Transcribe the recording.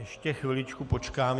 Ještě chviličku počkám.